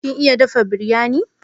Kin iya dafa biryani?